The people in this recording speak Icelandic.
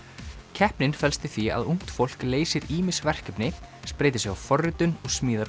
keppnin felst í því að ungt fólk leysir ýmis verkefni spreytir sig á forritun og smíðar